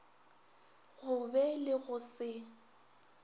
go be le go se